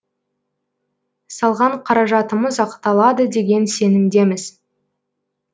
салған қаражатымыз ақталады деген сенімдеміз